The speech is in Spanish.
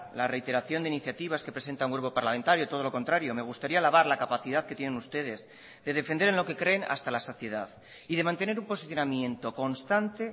la reiteración de iniciativas que presenta un grupo parlamentario todo lo contrario me gustaría alabar la capacidad que tienen ustedes de defender en lo que creen hasta la saciedad y de mantener un posicionamiento constante